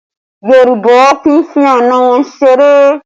Yorùbá kì í fi àna wọn ṣeré